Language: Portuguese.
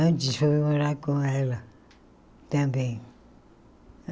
Antes foi morar com ela também.